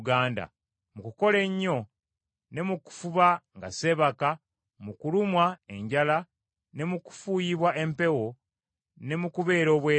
mu kukola ennyo ne mu kufuba nga seebaka, mu kulumwa enjala ne mu kufuuyibwa empewo ne mu kubeera obwereere.